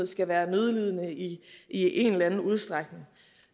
skal være nødlidende i i en